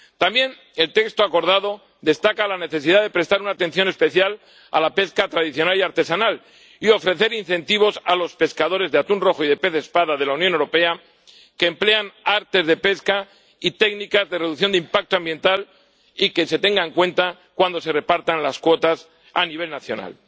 También el texto acordado destaca la necesidad de prestar una atención especial a la pesca tradicional y artesanal y de ofrecer incentivos a los pescadores de atún rojo y de pez espada de la Unión Europea que emplean artes de pesca y técnicas de reducción de impacto ambiental y de que esto se tenga en cuenta cuando se repartan las cuotas a nivel nacional.